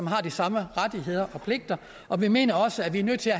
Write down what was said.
har de samme rettigheder og pligter og vi mener også at vi er nødt til at